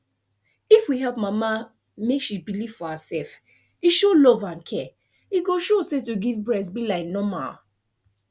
if we help mama make she believe for herself e show love and care e go show say to give breast be like normal